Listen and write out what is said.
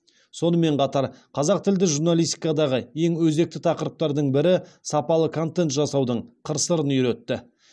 сонымен қатар қазақ тілді журналистикадағы ең өзекті тақырыптардың бірі сапалы контент жасаудың қыр сырын үйретті